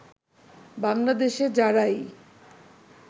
বাংলাদেশে যারাই